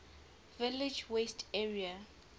village west area